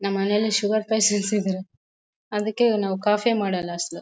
ನಮ್ಮ್ ಮನೇಲಿ sugar patient ಇದ್ರ್ ಅದಕ್ಕೆ ನಾವು ಕಾಫಿ ಮಾಡೋಲ್ಲ ಅಸಲು .